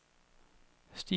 stifinder